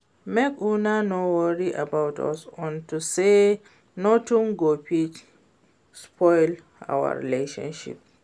Make una no worry about us unto say nothing go fit spoil our relationship